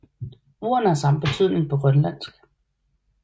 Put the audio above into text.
Ordene har samme betydning på grønlandsk